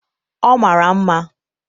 ọ mara mma